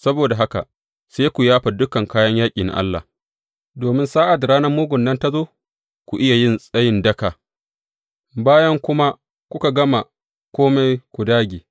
Saboda haka sai ku yafa dukan kayan yaƙi na Allah, domin sa’ad da ranar mugun nan ta zo, ku iya yin tsayin daka, bayan kuma kuka gama kome, ku dāge.